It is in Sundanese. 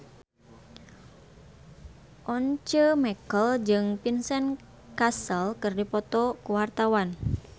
Once Mekel jeung Vincent Cassel keur dipoto ku wartawan